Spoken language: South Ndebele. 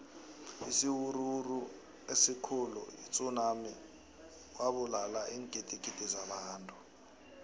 isiwuruwuru esikhuli itsunami wabulala iingdigidi zabantu